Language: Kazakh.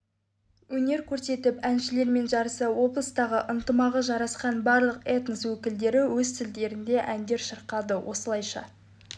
өнер көрсетіп әншілермен жарыса облыстағы ынтымағы жарасқан барлық этнос өкілдері өз тілдерінде әндер шырқады осылайша